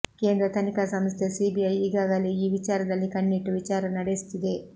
ಕೇಂದ್ರ ತನಿಖಾ ಸಂಸ್ಥೆ ಸಿಬಿಐ ಈಗಾಗಲೇ ಈ ವಿಚಾರದಲ್ಲಿ ಕಣ್ಣಿಟ್ಟು ವಿಚಾರಣೆ ನಡೆಸುತ್ತಿದೆ